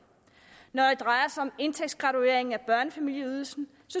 når det drejer sig om indtægtsgraduering af børnefamilieydelsen